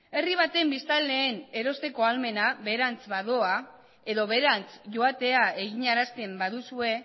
herri baten biztanleen erosteko ahalmena beherantz badoa edo beherantz joatea eginarazten baduzue